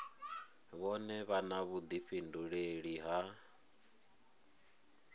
vhone vha na vhuḓifhinduleli ha